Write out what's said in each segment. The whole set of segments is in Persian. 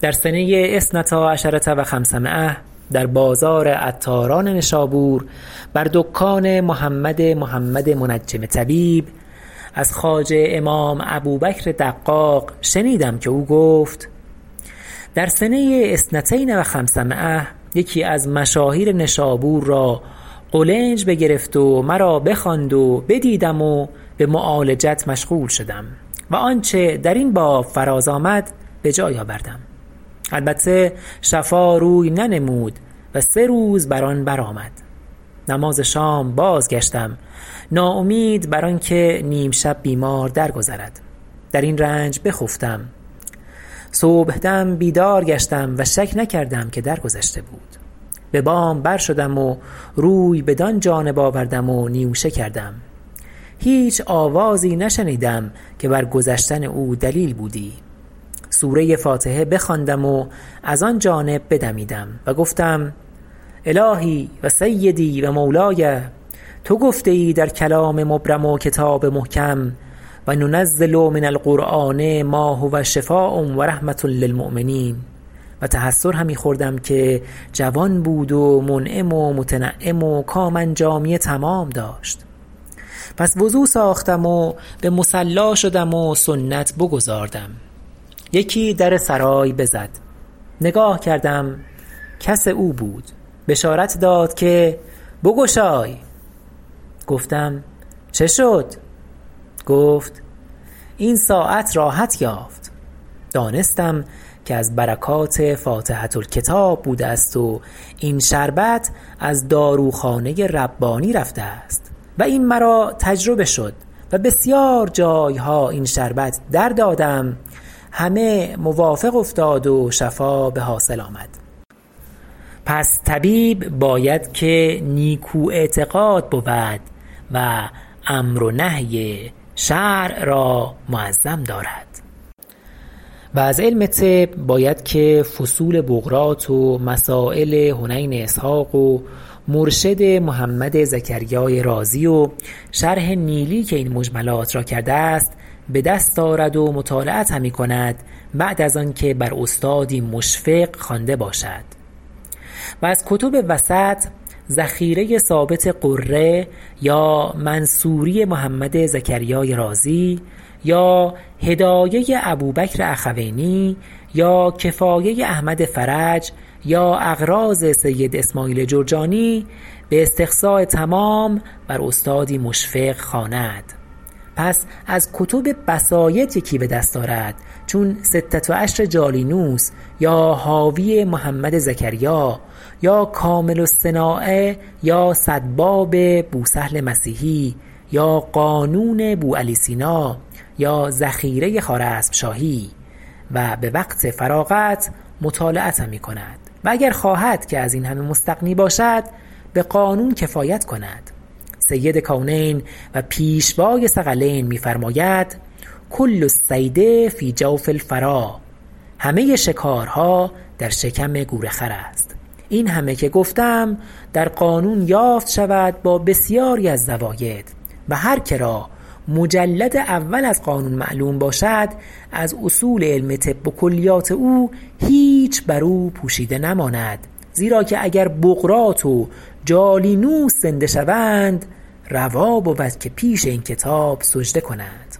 در سنه اثنتی عشرة و خمسمایة در بازار عطاران نشابور بر دکان محمد محمد منجم طبیب از خواجه امام ابوبکر دقاق شنیدم که او گفت در سنه اثنتین و خمسمایة یکی از مشاهیر نشابور را قولنج بگرفت و مرا بخواند و بدیدم و به معالجت مشغول شدم و آنچه در این باب فراز آمد به جای آوردم البته شفا روی ننمود و سه روز بر آن بر آمد نماز شام بازگشتم ناامید بر آن که نیمشب بیمار درگذرد در این رنج بخفتم صبحدم بیدار گشتم و شک نکردم که در گذشته بود به بام برشدم و روی بدان جانب آوردم و نیوشه کردم هیچ آوازی نشنیدم که بر گذشتن او دلیل بودی سوره فاتحه بخواندم و از آن جانب بدمیدم و گفتم الهی و سیدی و مولای تو گفته ای در کلام مبرم و کتاب محکم و ننزل من القرآن ما هو شفاء و رحمة للمؤمنین و تحسر همی خوردم که جوان بود و منعم و متنعم و کام انجامی تمام داشت پس وضو ساختم و به مصلی شدم و سنت بگزاردم یکی در سرای بزد نگاه کردم کس او بود بشارت داد که بگشای گفتم چه شد گفت این ساعت راحت یافت دانستم که از برکات فاتحة الکتاب بوده است و این شربت از داروخانه ربانی رفته است و این مرا تجربه شد و بسیار جایها این شربت در دادم همه موافق افتاد و شفا بحاصل آمد پس طبیب باید که نیکو اعتقاد بود و امر و نهی شرع را معظم دارد و از علم طب باید که فصول بقراط و مسایل حنین اسحق و مرشد محمد زکریاء رازی و شرح نیلی که این مجملات را کرده است به دست آرد و مطالعت همی کند بعد از آن که بر استادی مشفق خوانده باشد و از کتب وسط ذخیره ثابت قره یا منصوری محمد زکریاء رازی یا هدایه ابوبکر اخوینی با کفایه احمد فرج یا اغراض سید اسماعیل جرجانی به استقصاء تمام بر استادی مشفق خواند پس از کتب بسایط یکی به دست آرد چون ستة عشر جالینوس یا حاوی محمد زکریا یا کامل الصناعة یا صد باب بوسهل مسیحی یا قانون بوعلی سینا یا ذخیره خوارزمشاهی و به وقت فراغت مطالعه همی کند و اگر خواهد که از این همه مستغنی باشد به قانون کفایت کند سید کونین و پیشوای ثقلین می فرماید کل الصید فی جوف الفرا همه شکارها در شکم گورخر است این همه که گفتم در قانون یافته شود با بسیاری از زواید و هر که را مجلد اول از قانون معلوم باشد از اصول علم طب و کلیات او هیچ بر او پوشیده نماند زیرا که اگر بقراط و جالینوس زنده شوند روا بود که پیش این کتاب سجده کنند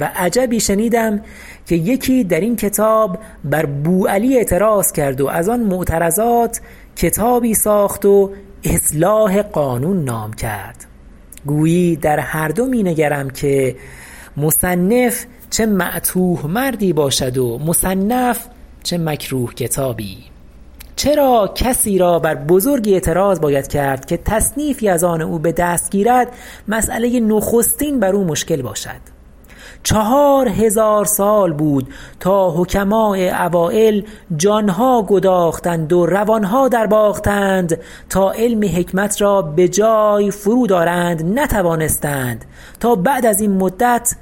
و عجبی شنیدم که یکی در این کتاب بر بوعلی اعتراض کرد و از آن معترضات کتابی ساخت و اصلاح قانون نام کرد گویی در هر دو می نگرم که مصنف چه معتوه مردی باشد و مصنف چه مکروه کتابی چرا کسی را بر بزرگی اعتراض باید کرد که تصنیفی از آن او به دست گیرد مسأله نخستین بر او مشکل باشد چهار هزار سال بود تا حکماء اوایل جانها گداختند و روانها در باختند تا علم حکمت را به جای فرود آرند نتوانستند تا بعد از این مدت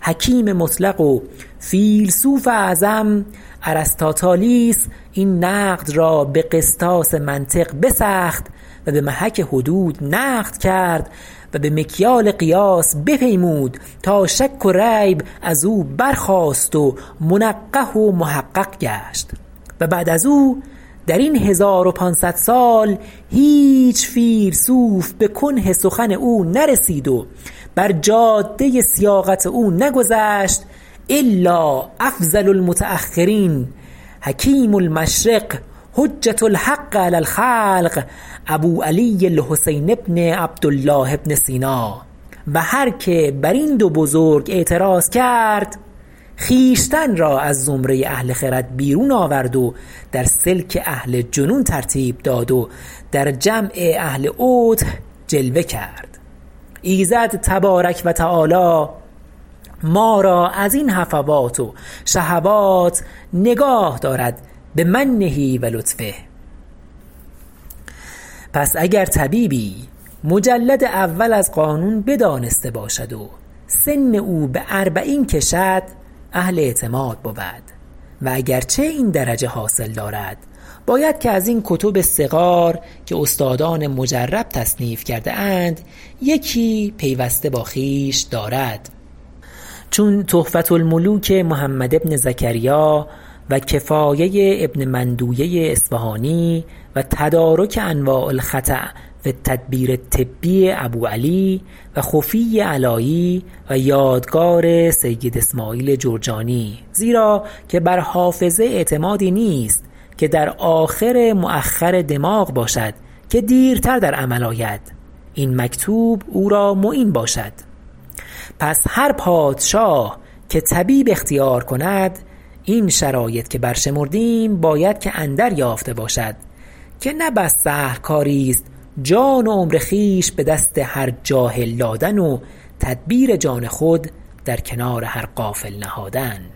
حکیم مطلق و فیلسوف اعظم ارسطاطالیس این نقد را به قسطاس منطق بسخت و به محک حدود نقد کرد و به مکیال قیاس بپیمود تا شک و ریب از او برخاست و منقح و محقق گشت و بعد از او در این هزار و پانصد سال هیچ فیلسوف به کنه سخن او نرسید و بر جاده سیاقت او نگذشت الا افضل المتأخرین حکیم المشرق حجة الحق على الخلق ابوعلی الحسین بن عبدالله بن سینا و هر که بر این دو بزرگ اعتراض کرد خویشتن را از زمره اهل خرد بیرون آورد و در سلک اهل جنون ترتیب داد و در جمع اهل عته جلوه کرد ایزد تبارک و تعالی ما را از این هفوات و شهوات نگاه داراد بمنه و لطفه پس اگر طبیبی مجلد اول از قانون بدانسته باشد و سن او به اربعین کشد اهل اعتماد بود و اگر چه این درجه حاصل دارد باید که از این کتب صغار که استادان مجرب تصنیف کرده اند یکی پیوسته با خویشتن دارد چون تحفة الملوک محمد بن زکریا و کفایه ابن مندویه اصفهانی و تدارک انواع الخطأ فی التدبیر الطبی ابوعلى و خفی علایی و یادگار سید اسماعیل جرجانی زیرا که بر حافظه اعتمادی نیست که در آخر مؤخر دماغ باشد که دیرتر در عمل آید این مکتوب او را معین باشد پس هر پادشاه که طبیب اختیار کند این شرایط که برشمردیم باید که اندر یافته باشد که نه بس سهل کاریست جان و عمر خویش به دست هر جاهل دادن و تدبیر جان خود در کنار هر غافل نهادن